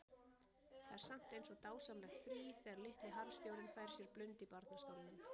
Það er samt eins og dásamlegt frí þegar litli harðstjórinn fær sér blund í barnastólnum.